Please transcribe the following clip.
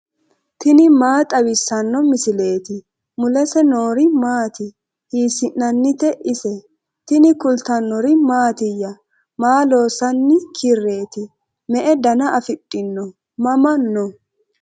tini maa xawissanno misileeti ? mulese noori maati ? hiissinannite ise ? tini kultannori mattiya? Maa loosanni kireeti? me'e danna afidhinno? mama noo?